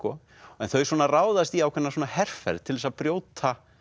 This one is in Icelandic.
en þau ráðast í ákveðna herferð til þess að brjóta